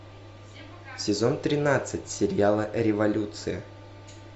сезон тринадцать сериала революция